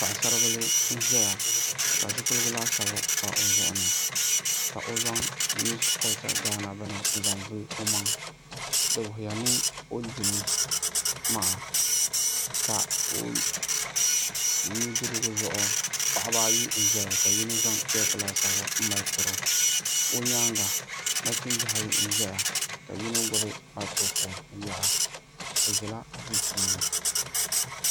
Paɣasaribili n ʒɛya ka zipiligu laasabu pa i zuɣuni ka o zaŋ miss kolcha bini n zaŋ vuli o zuɣuni di wuhuya ni o dimi maa ka o nudirigu zuɣu paɣaba ayi n ʒɛya ka yino zaŋ cheek laasabu n mali tiro o nyaanga nachimbi ayi n ʒɛya ka yino gbubi maikuro foon n yɛra bi ʒila duu puuni